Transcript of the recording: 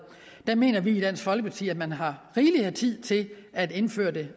der mener vi i dansk folkeparti at man har rigelig tid til at indføre det